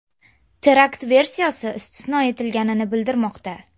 Terakt versiyasi istisno etilgani bildirilmoqda.